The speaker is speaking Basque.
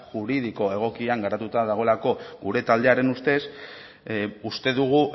juridiko egokian garatuta dagoelako gure taldearen ustez uste dugu